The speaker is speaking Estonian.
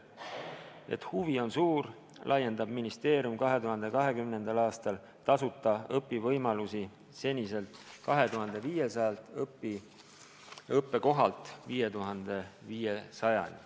Et huvi on suur, laiendab ministeerium 2020. aastal tasuta õppimise võimalusi seniselt 2500-lt õppekohalt 5500-ni.